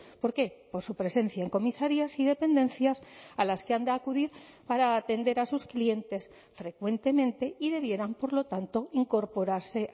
por qué por su presencia en comisarías y dependencias a las que han de acudir para atender a sus clientes frecuentemente y debieran por lo tanto incorporarse